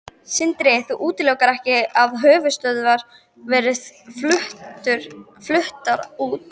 Sindri: Þú útilokar ekki að höfuðstöðvar verði fluttar út?